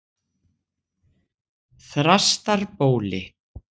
Þrastarbóli